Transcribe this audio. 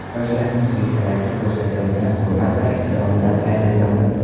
Yoshlarning keksalarga ko‘rsatayotgan hurmat va ehtiromidan hayratlandim.